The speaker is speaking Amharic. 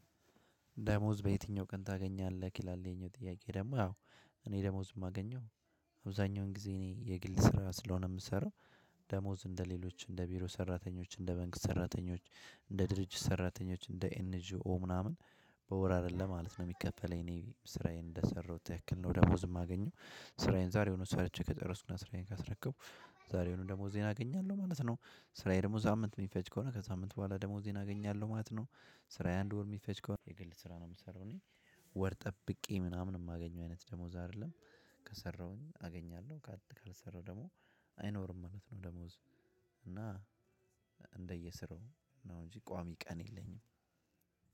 ደሞዝ በየትኛው ቀን ታገኛለህ? ይላል ይሄኛው ጥያቄ ደግሞ ያው እኔ ደሞዝ የማገኘው አብዛኛውን ጊዜ እኔ የግል ስራው ስለሆነ የምሰራው። ደሞዝ እንደሌሎች እንደ ቢሮ ሰራተኞች እንደ መንግስት ሰራተኞች እንደ ድርጅት ሰራተኞች እንደ ኤንጂኦ ምናምን በወር አይደለም ማለት ነው የሚከፈለኝ። እኔ ስራዬን እንደሰራሁት ያክል ነው ደሞዝ የማገኘው ስራዬን ዛሬውኑ ሰርቼ ከጭረስኩና ስራዬን ካስረከቡ ዛሬውኑ ደግሞ ዜና አገኛለሁ ማለት ነው። ስራዬ ደሞዝ ሳምንት የሚፈጅ ከሆነ ከሳምንት በኋላ ደሞዜን አገኛለሁ ማለት ነው። ስራዬ አንድ ወር የሚፈጅ ከሆነ የግል ስራ ነው የምሰራው እኔ። ወር ጠብቄ የማገኘው አይነት ደሞዝ አይደለም። ከሰራሁኝ አገኛለሁ። ካልሰራሁ ደግሞ አይኖርም ማለት ነው። ደሞዝ እና እንደየስራው ነው እንጂ ቋሚ ቀን የለኝም።